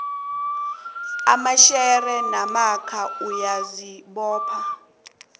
amashare namkha uyazibopha